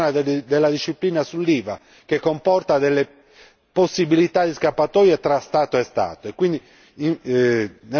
Iniziamo a pensare anche ad una revisione della disciplina sull'IVA che comporta possibilità di scappatoie tra Stato e Stato.